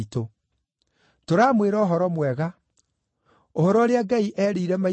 “Tũramwĩra ũhoro mwega: Ũhoro ũrĩa Ngai eerĩire maithe maitũ,